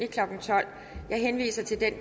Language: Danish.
klokken tolv jeg henviser til den